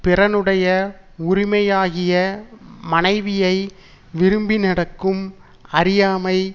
பிறனுடைய உரிமையாகிய மனைவியை விரும்பி நடக்கும் அறியாமை